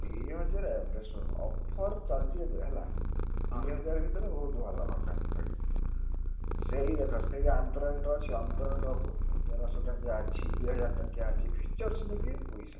ଦିହଜାର ଏବେ ଶୁଣୁ offer ଚାଲଚି ଏବେ ହେଲା। ଦିହଜାର ଭିତରେ ବହୁତ୍ ଭଲ ଘଣ୍ଟା ପାଇବ। ସେଇ ଦେଖ ସେଇ ର ଅଛି ର ତେରସ ଟଙ୍କିଆ ଅଛି ଦିହଜାର ଟଙ୍କିଆ ଅଛି features ନେଇକି ପଇସା।